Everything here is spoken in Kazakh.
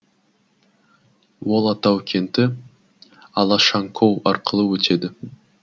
ол атау кенті алашанкоу арқылы өтеді